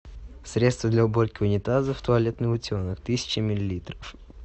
средство для уборки унитазов туалетный утенок тысяча миллилитров